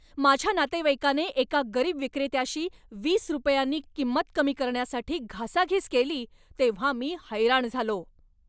माझ्या नातेवाईकाने एका गरीब विक्रेत्याशी वीस रुपयांनी किंमत कमी करण्यासाठी घासाघिस केली तेव्हा मी हैराण झालो.